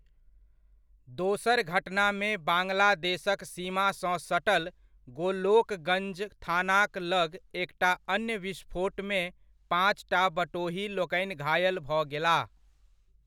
दोसर घटनामे बाङ्गलादेशक सीमासँ सटल गोलोकगञ्ज थानाक लग एकटा अन्य विस्फोटमे पाँचटा बटोहीलोकनि घायल भऽ गेलाह।